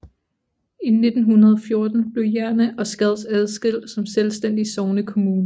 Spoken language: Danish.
I 1914 blev Jerne og Skads adskilt som selvstændige sognekommuner